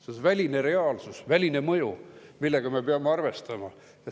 See on väline reaalsus, väline mõju, millega me peame arvestama.